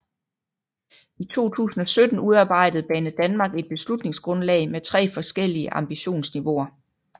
I 2017 udarbejdede Banedanmark et beslutningsgrundlag med tre forskellige ambitionsniveauer